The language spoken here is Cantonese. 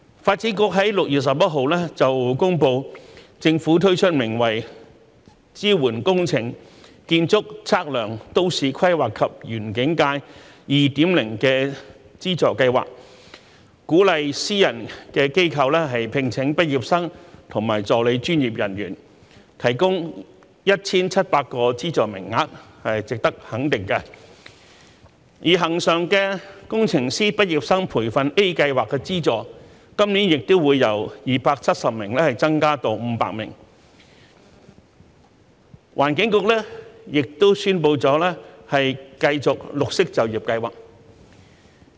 發展局在6月11日公布，政府推出名為"支援工程、建築、測量、都市規劃及園境界 2.0" 的資助計劃，鼓勵私人機構聘請畢業生及助理專業人員，提供 1,700 個資助名額，值得肯定；而恆常的工程畢業生培訓計劃 A 的資助名額，今年亦由270名增至500名；環境局亦已宣布繼續綠色就業計劃。